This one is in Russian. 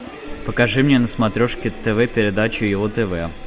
покажи мне на смотрешке тв передачу его тв